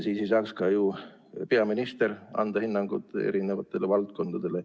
Siis aga ei saaks ka ju peaminister anda hinnangut eri valdkondadele.